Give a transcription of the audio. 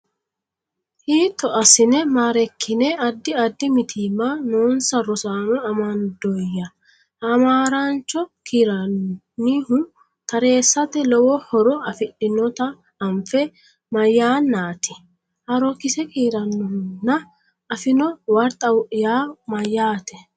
Hiitto assine maa’reekkine Addi addi mitiimma noonsa rosaano amandoyya? Hamaaraancho kiirrannihu tareessate lowo horo afidhinota anfe, mayannaati? Haarookkise kiirrannihuna? Affino warxa yaa mayyaate?